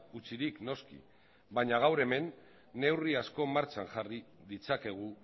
utzirik noski baina gaur hemen neurri asko martxan jarri ditzakegu